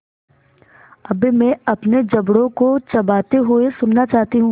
अब मैं अपने जबड़ों को चबाते हुए सुनना चाहती हूँ